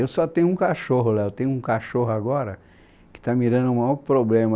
Eu só tenho um cachorro, lá eu tenho um cachorro agora que está me dando o maior problema.